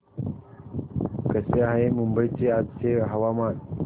कसे आहे मुंबई चे आजचे हवामान